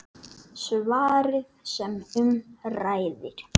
Svarið sem um ræðir